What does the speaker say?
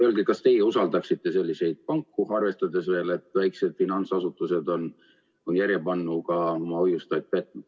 Öelge, kas teie usaldaksite selliseid panku, arvestades seda, et väikesed finantsasutused on järjepanu oma hoiustajaid petnud.